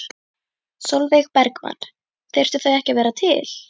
Sólveig Bergmann: Þyrftu þau ekki að vera til?